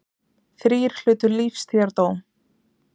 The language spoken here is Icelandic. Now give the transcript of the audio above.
Þrír hlutu lífstíðardóm